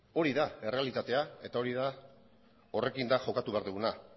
hori da errealitatea eta horrekin da jokatu behar duguna